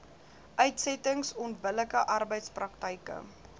uitsettings onbillike arbeidspraktyke